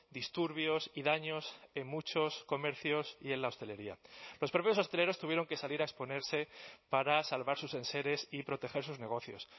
disturbios y daños en muchos comercios y en la hostelería los propios hosteleros tuvieron que salir a exponerse para salvar sus enseres y proteger sus negocios